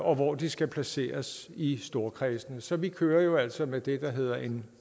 og hvor de skal placeres i storkredsene så vi kører altså med det der hedder en